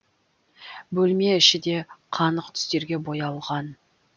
бөлме іші де қанық түстерге боялған